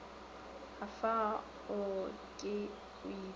afa o ke o ipee